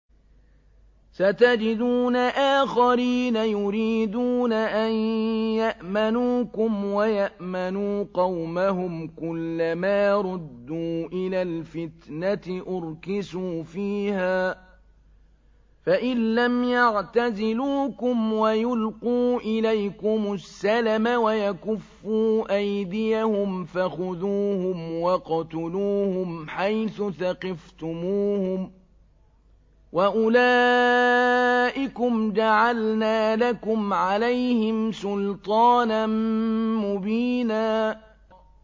سَتَجِدُونَ آخَرِينَ يُرِيدُونَ أَن يَأْمَنُوكُمْ وَيَأْمَنُوا قَوْمَهُمْ كُلَّ مَا رُدُّوا إِلَى الْفِتْنَةِ أُرْكِسُوا فِيهَا ۚ فَإِن لَّمْ يَعْتَزِلُوكُمْ وَيُلْقُوا إِلَيْكُمُ السَّلَمَ وَيَكُفُّوا أَيْدِيَهُمْ فَخُذُوهُمْ وَاقْتُلُوهُمْ حَيْثُ ثَقِفْتُمُوهُمْ ۚ وَأُولَٰئِكُمْ جَعَلْنَا لَكُمْ عَلَيْهِمْ سُلْطَانًا مُّبِينًا